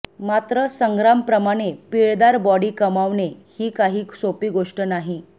मात्र संग्रामप्रमाणे पिळदार बॉडी कमावणे ही काही सोपी गोष्ट नाही